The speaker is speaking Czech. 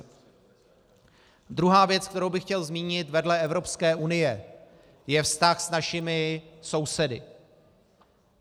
Druhá věc, kterou bych chtěl zmínit vedle Evropské unie, je vztah s našimi sousedy.